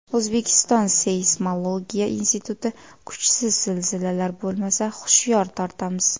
O‘zbekiston Seysmologiya instituti: Kuchsiz zilzilalar bo‘lmasa, hushyor tortamiz .